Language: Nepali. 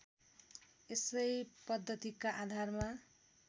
यसै पद्धतिका आधारमा